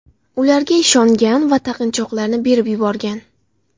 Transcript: ularga ishongan va taqinchoqlarni berib yuborgan.